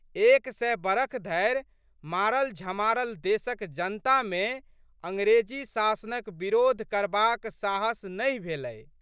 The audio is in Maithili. एक सय बरख धरि मारलझमारल देशक जनतामे अंग्रेजी शासनक बिरोध करबाक साहस नहि भेलै।